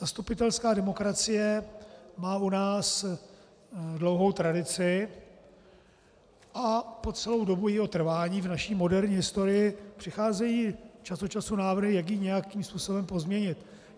Zastupitelská demokracie má u nás dlouhou tradici a po celou dobu jejího trvání v naší moderní historii přicházejí čas od času návrhy, jak ji nějakým způsobem pozměnit.